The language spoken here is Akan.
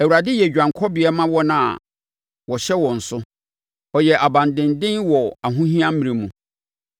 Awurade yɛ dwanekɔbea ma wɔn a wɔhyɛ wɔn so, ɔyɛ abandenden wɔ ahohia mmrɛ mu.